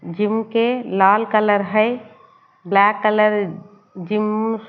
gym के लाल colour है ब्लैक कलर जिम म--